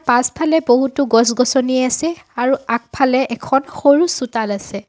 পাচফালে বহুতো গছ-গছনি আছে আৰু আগফালে এখন সৰু চোতাল আছে।